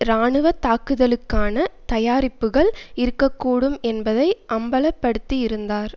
இராணுவ தாக்குதலுக்கான தயாரிப்புக்கள் இருக்க கூடும் என்பதை அம்பலப்படுத்தியிருந்தார்